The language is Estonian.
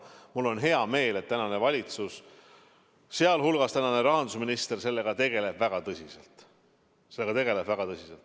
Mul on hea meel, et tänane valitsus, sealhulgas tänane rahandusminister, sellega väga tõsiselt tegeleb.